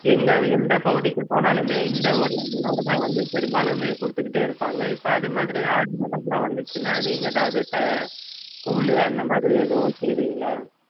எங்க எந்த பகுதிக்கு போனாலுமே இந்த ஒரு உணவுதான் வந்து பெரும்பாலுமே குடுத்துக்கிட்டே இருப்பாங்க இப்ப அது மாதிரி ஆடி மாசம் எல்லாம் வந்துச்சுன்னா நீங்க எதாவது அஹ் கூழு அந்த மாதிரி எதுவும் செய்வீங்களா